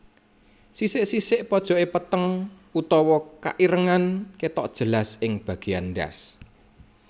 Sisik sisik pojoké peteng utawa keirengan kétok jelas ing bagéyan ndas